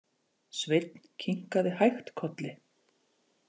Sveinn kinkaði hægt kolli.